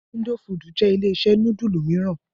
Indofood jẹ́ ilé-iṣẹ́ núdúlù mìíràn.